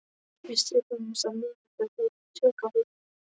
Við skrifuðumst á meðan þær höfðu tök á því.